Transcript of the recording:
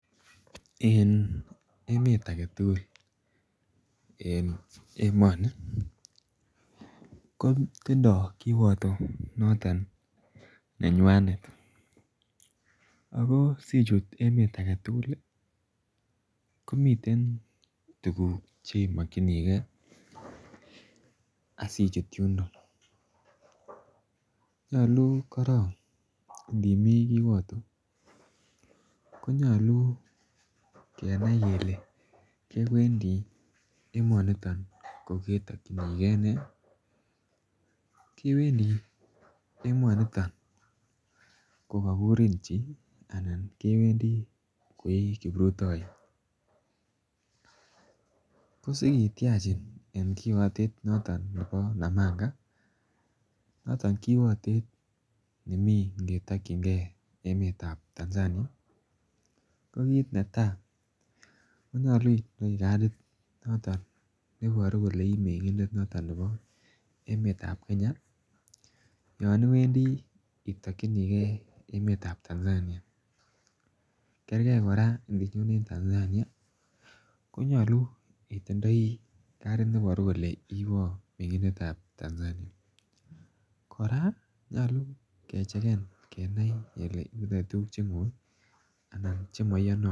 En emet agetugul en emoni kotinye kiwatonyuanet. Ako sichute emeet agetugul ih, komiten tuguk chemokinige asichut yoto nyalu koron. Konyalu kenai kele kewendi nee, kogetakienege nee? Kewendi emoniton kokakurin chi? Anan kewendi koikipritayot, ko sikitiachin en kiwatet noton nebo namanga ih noton kiwatet nenmii ingetakienge emeetab Tanzania, ko kit netai konyalu itinye kadit nebari kole ih mengindet noton nebo emeetab Kenya . Yoon iwendii itakinike emeetab Tanzania kerge kora ininyone en Tanzania, konyalu itindai kadid nebari kole ibaa Tanzania. Kora nyalu kechegeni itaibe tuguk chemaiyanatin.